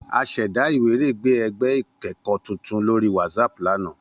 A ṣẹda iwiregbe ẹgbẹ ikẹkọ tuntun lori Whatsapp lana.